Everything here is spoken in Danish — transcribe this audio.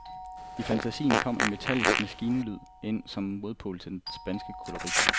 I fantasien fra kom en metallisk maskinmusik ind som modpol til den spanske kolorit.